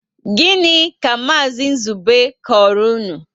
Gịnị ka Maazi Nzube koro unu?